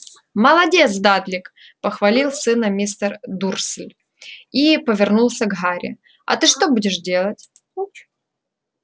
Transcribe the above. молодец дадлик похвалил сына мистер дурсль и повернулся к гарри а ты что будешь делать